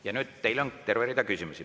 Ja nüüd on teile terve rida küsimusi.